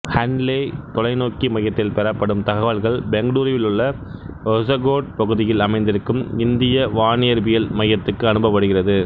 ஹன்லே தொலைநோக்கி மையத்தில் பெறப்படும் தகவல்கள் பெங்களூருவில் உள்ள ஹொசகோட் பகுதியில் அமைத்திருக்கும் இந்திய வானியற்பியல் மையத்துக்கு அனுப்பப்படுகிறது